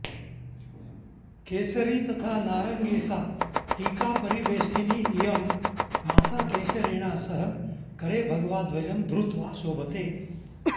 केसरी तथा नारंगीसाटीकापरिबेष्टिनी ईयं माता केशरिणा सह करे भगवाध्वजं धृत्वा शोभते